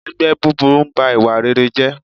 Ẹgbẹ́ búburú n ba ìwà rere jẹ́